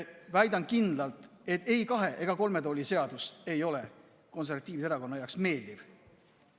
Väidan kindlalt, et ei kahe ega kolme tooli seadus ei ole Eesti Konservatiivse Rahvaerakonna jaoks meeldiv.